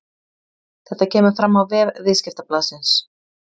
Þetta kemur fram á vef Viðskiptablaðsins